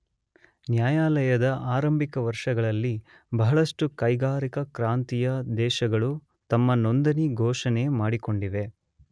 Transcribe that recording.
ನ್ಯಾಯಾಲಯದ ಆರಂಭಿಕ ವರ್ಷಗಳಲ್ಲಿಬಹಳಷ್ಟು ಕೈಗಾರಿಕಾ ಕ್ರಾಂತಿಯ ದೇಶಗಳು ತಮ್ಮ ನೊಂದಣಿ ಘೋಷಣೆ ಮಾಡಿಕೊಂಡಿವೆ.